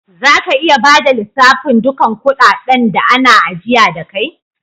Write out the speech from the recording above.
Za ka iya bada lissafin dukan kudaden da ana ajiya da kai?